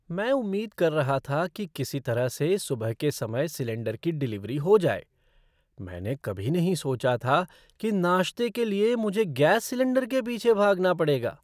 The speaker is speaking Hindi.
मैं उम्मीद कर रहा था कि किसी तरह से सुबह के समय सिलेंडर की डिलीवरी हो जाए। मैंने कभी नहीं सोचा था कि नाश्ते के लिए मुझे गैस सिलेंडर के पीछे भागना पड़ेगा!